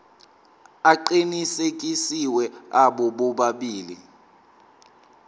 aqinisekisiwe abo bobabili